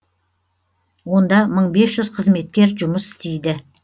онда мың бес жүз қызметкер жұмыс істейді